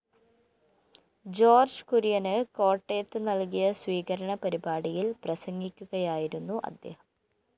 George കുര്യന് കോട്ടയത്ത് നല്‍കിയ സ്വീകരണ പരിപാടിയില്‍ പ്രസംഗിക്കുകയായിരുന്നു അദ്ദേഹം